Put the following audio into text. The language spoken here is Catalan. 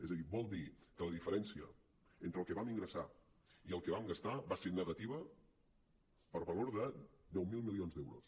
és a dir vol dir que la diferència entre el que vam ingressar i el que vam gastar va ser negativa per valor de deu mil milions d’euros